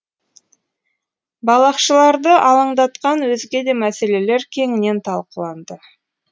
балақшыларды алаңдатқан өзге де мәселелер кеңінен талқыланды